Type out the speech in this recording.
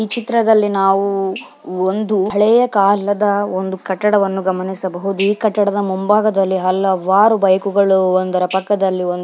ಈ ಚಿತ್ರದಲ್ಲಿ ನಾವು ಒಂದು ಅಳೆಯ ಕಾಲದ ಕಟ್ಟಡವನ್ನು ಗಮನಿಸಬಹುದು ಈ ಕಟ್ಟದಡ ಮುಂಭಾಗದಲ್ಲಿ ಹಲವಾರು ಬೈಕ್ಗಳು ಒಂದರ ಪಕ್ಕದಲ್ಲಿ ಒಂದು--